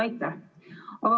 Aitäh!